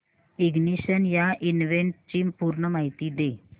ignition या इव्हेंटची पूर्ण माहिती दे